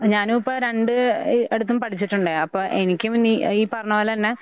ഞാനുഇപ്പ രണ്ട് എഹ് അടുത്തും പഠിച്ചിട്ടുണ്ട്. അപ്പൊ എനിക്കും ഇന്നി ഈ പറണപോലെ തന്നെ